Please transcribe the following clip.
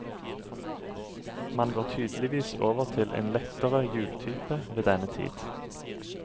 Man går tydeligvis over til en lettere hjultype ved denne tid.